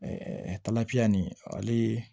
talabiya nin ale ye